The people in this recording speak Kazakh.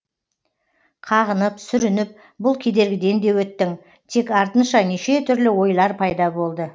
қағынып сүрініп бұл кедергіден де өттің тек артынша неше түрлі ойлар пайда болды